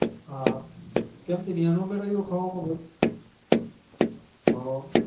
હ તેય ન મેર અવયું હ